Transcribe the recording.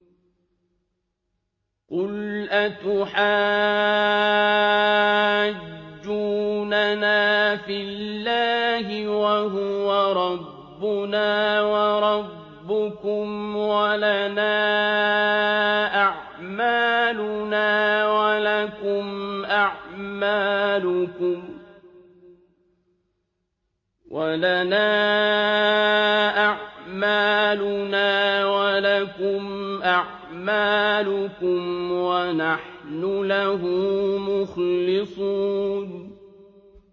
قُلْ أَتُحَاجُّونَنَا فِي اللَّهِ وَهُوَ رَبُّنَا وَرَبُّكُمْ وَلَنَا أَعْمَالُنَا وَلَكُمْ أَعْمَالُكُمْ وَنَحْنُ لَهُ مُخْلِصُونَ